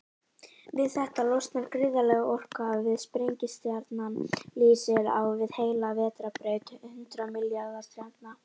Við þetta losnar gríðarleg orka, svo sprengistjarnan lýsir á við heila vetrarbraut hundrað milljarða stjarna.